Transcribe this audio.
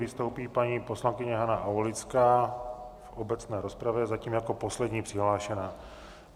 Vystoupí paní poslankyně Hana Aulická v obecné rozpravě, zatím jako poslední přihlášená.